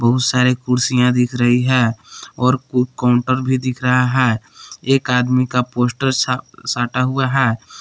बहुत सारे कुर्सियाएं दिख रही है और फ़ुड काउंटर भी दिख रहा है एक आदमी का पोस्टर सटा हुआ है।